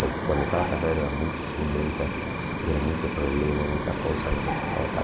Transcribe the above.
Porque quando estava casado era muito ciumenta, era muito problema, muita coisa, não sei o que. Pá, pá, pá.